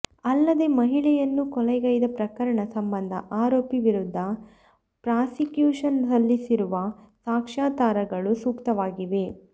ಅಲ್ಲದೆ ಮಹಿಳೆಯನ್ನು ಕೊಲೆಗೈದ ಪ್ರಕರಣ ಸಂಬಂಧ ಆರೋಪಿ ವಿರುದ್ಧ ಪ್ರಾಸಿಕ್ಯೂಶನ್ ಸಲ್ಲಿಸಿರುವ ಸಾಕ್ಷ್ಯಾಧಾರಗಳು ಸೂಕ್ತವಾಗಿವೆ